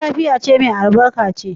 Tashi lafiya ce mai albarka ce.